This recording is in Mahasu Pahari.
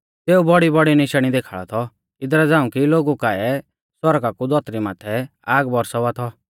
सेऊ बौड़ीबौड़ी निशाणी देखाल़ा थौ इदरा झ़ांऊ कि लोगु काऐ आसमाना कु धौतरी माथै आग बौरसावा थौ